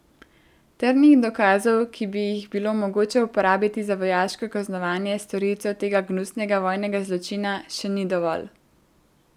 Trdnih dokazov, ki bi jih bilo mogoče uporabiti za vojaško kaznovanje storilcev tega gnusnega vojnega zločina, še ni dovolj.